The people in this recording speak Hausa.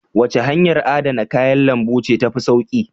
Wace hanyar adana kayan lambu ce ta fi sauƙi?